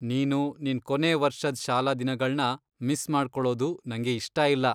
ನೀನು ನಿನ್ ಕೊನೇ ವರ್ಷದ್ ಶಾಲಾ ದಿನಗಳ್ನ ಮಿಸ್ ಮಾಡ್ಕೊಳೋದು ನಂಗೆ ಇಷ್ಟ ಇಲ್ಲ.